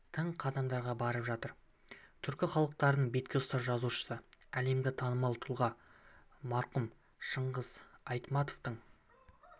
тың қадамдарға барып жатыр түркі халықтарының бетке ұстар жазушысы әлемге танымал тұлға марқұм шыңғыс айтматовтың